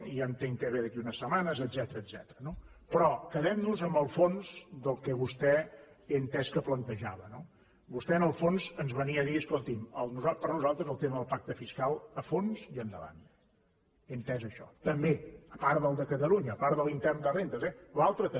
ja entenc que ve d’aquí a unes setmanes etcètera no però quedem nos amb el fons del que vostè he entès que plantejava no vostè en el fons ens venia a dir escolti’m per nosaltres el tema del pacte fiscal a fons i endavant he entès això també a part del de catalunya a part de l’intern de rendes eh l’altre també